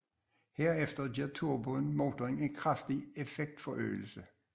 Herefter giver turboen motoren en kraftig effektforøgelse